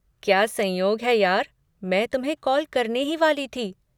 क्या संयोग है यार, मैं तुम्हें कॉल करने ही वाली थी।